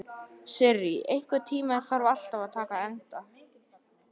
Sirrý, einhvern tímann þarf allt að taka enda.